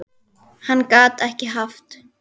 Hann gat ekki haft